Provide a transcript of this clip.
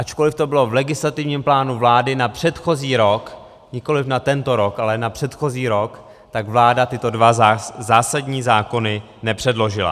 Ačkoliv to bylo v legislativním plánu vlády na předchozí rok, nikoliv na tento rok, ale na předchozí rok, tak vláda tyto dva zásadní zákony nepředložila.